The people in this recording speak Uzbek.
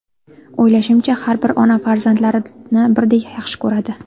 O‘ylashimcha, har bir ona farzandlarini birdek yaxshi ko‘radi.